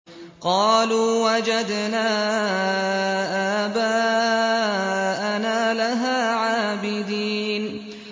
قَالُوا وَجَدْنَا آبَاءَنَا لَهَا عَابِدِينَ